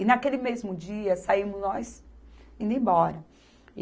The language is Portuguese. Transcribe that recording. E naquele mesmo dia, saímos nós indo embora.